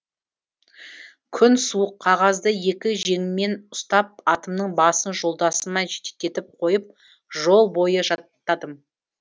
күн суық қағазды екі жеңіммен ұстап атымның басын жолдасыма жетектетіп қойып жол бойы жаттадым